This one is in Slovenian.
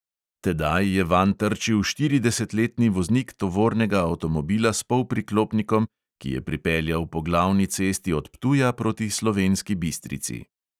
Tedaj je vanj trčil štiridesetletni voznik tovornega avtomobila s polpriklopnikom, ki je pripeljal po glavni cesti od ptuja proti slovenski bistrici.